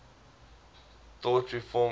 thought reform contains